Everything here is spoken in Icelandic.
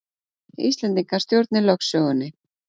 Íslendingar stjórni lögsögunni